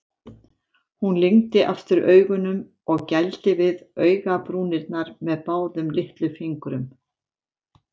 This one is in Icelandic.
Hún lygndi aftur augunum og gældi við augabrúnirnar með báðum litlufingrum.